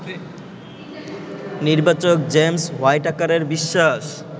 নির্বাচক জেমস হোয়াইটাকারের বিশ্বাস